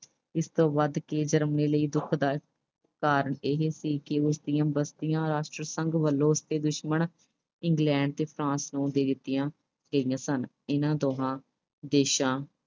ਇਸ ਤੋਂ ਵਧ ਕੇ Germany ਲਈ ਦੁਖਦਾਇਕ ਕਾਰਨ ਇਹ ਸੀ ਕਿ ਉਸਦੀਆਂ ਬਸਤੀਆਂ ਰਾਸ਼ਟਰ ਸੰਘ ਵੱਲੋਂ ਉਸਦੇ ਦੁਸ਼ਮਣ England ਤੇ France ਨੂੰ ਦੇ ਦਿੱਤੀਆਂ ਗਈਆਂ ਸਨ। ਇਨ੍ਹਾਂ ਦੋਹਾਂ ਦੇਸ਼ਾਂ